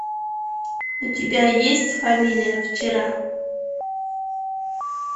у тебя есть фамилия вчера